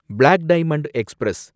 black Diamond express